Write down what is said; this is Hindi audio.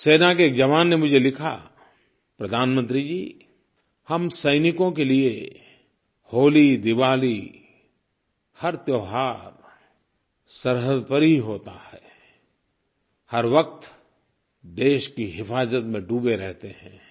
सेना के एक जवान ने मुझे लिखा प्रधानमंत्री जी हम सैनिकों के लिये होली दिवाली हर त्योहार सरहद पर ही होता है हर वक्त देश की हिफाज़त में डूबे रहते हैं